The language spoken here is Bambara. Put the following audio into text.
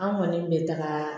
An kɔni bɛ taga